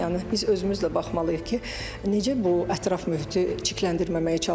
Yəni biz özümüz də baxmalıyıq ki, necə bu ətraf mühiti çirkləndirməməyə çalışırıq.